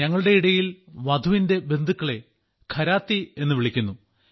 ഞങ്ങളുടെ ഇടയിൽ വധുവിന്റെ ബന്ധുക്കളെ ഘരാത്തി എന്നു വിളിക്കുന്നു